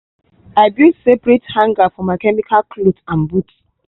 i build separate hanger for my chemical cloth and boot.